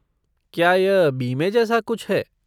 क्या यह बीमे जैसा कुछ है?